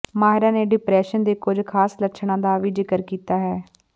ਮਾਹਿਰਾਂ ਨੇ ਡਿਪਰੈਸ਼ਨ ਦੇ ਕੁਝ ਖ਼ਾਸ ਲੱਛਣਾਂ ਦਾ ਵੀ ਜ਼ਿਕਰ ਕੀਤਾ ਹੈ